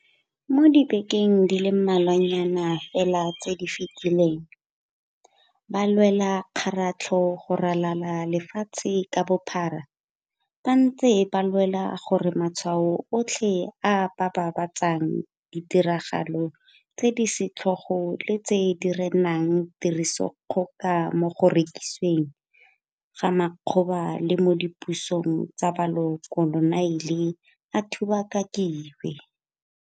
Mo dibekeng di le mmalwanyana fela tse di fetileng, balwelakgaratlho go ralala le lefatshe ka bophara ba ntse ba lwela gore matshwao otlhe a a babatsang ditiragalo tse di setlhogo le tse di renang tirisodikgoka mo go rekisiweng ga makgoba le mo dipusong tsa bokoloniale a thubakakiwe.